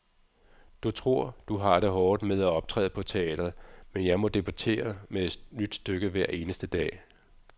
Du tror, du har det hårdt med at optræde på teatret, men jeg må debutere med et nyt stykke hver eneste dag.